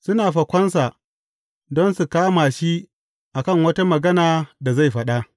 Suna fakonsa, don su kama shi a kan wata magana da zai faɗa.